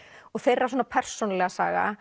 og þeirra svona persónulega saga